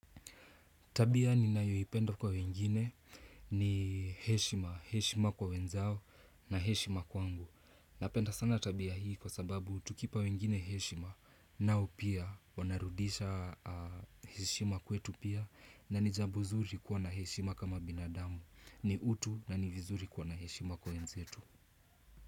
Tabia ninayoipenda kwa wengine ni heshima, heshima kwa wenzao na heshima kwangu. Napenda sana tabia hii kwa sababu tukipa wengine heshima nao pia wanarudisha heshima kwetu pia na ni jambo zuri kuwa na heshima kama binadamu. Ni utu na ni vizuri kuwa na heshima kwa wenzetu.